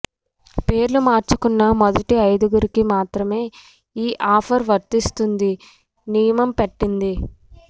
పేర్లు మార్చుకున్న మొదటి ఐదుగురికి మాత్రమే ఈ ఆఫర్ వర్తిస్తుందని నియమం పెట్టింది